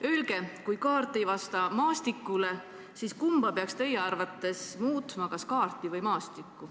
Öelge, kui kaart ei vasta maastikule, siis kumba peaks teie arvates muutma, kas kaarti või maastikku.